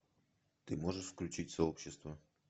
ты можешь включить сообщество